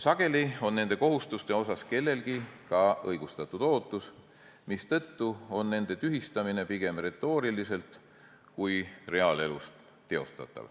Sageli on nende kohustuste puhul kellelgi ka õigustatud ootus, mistõttu on nende tühistamine teostatav pigem retooriliselt kui reaalelus.